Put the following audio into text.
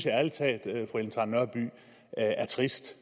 ærlig talt er trist